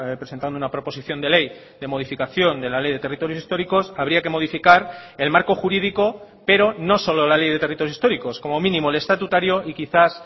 presentando una proposición de ley de modificación de la ley de territorios históricos habría que modificar el marco jurídico pero no solo la ley de territorios históricos como mínimo el estatutario y quizás